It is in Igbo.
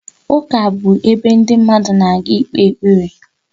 Ụka bụ ebe ndị mmadụ na-aga ikpe ekpere